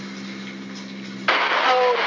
हो